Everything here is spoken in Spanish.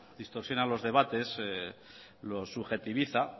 distorsiona los debates los subjetiviza